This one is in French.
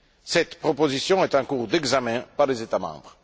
Cette proposition est en cours d'examen par les États membres.